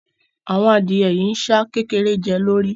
Àwọn adìẹ yìí ń ṣá kékeré jẹ́ lórí